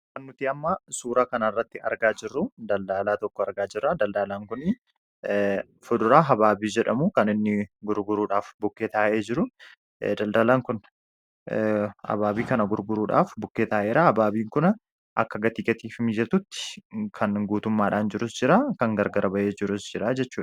Suura kana irratti kan argaa jirru daldalaa tokkodha. Innis fuduraa habaabii jedhamu gurguruudhaaf bukkee taa'ee jira. Habaabii kanas akka gurgurtaaf mijatutti kan guutummaadhaan jiru jira; akkasumas kan gargar bahee jirus jira.